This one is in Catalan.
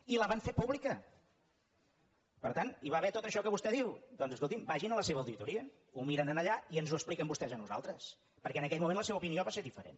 i la van fer públi·ca per tant hi va haver tot això que vostè diu doncs escoltin vagin a la seva auditoria ho miren allà i ens ho expliquen vostès a nosaltres perquè en aquell mo·ment la seva opinió va ser diferent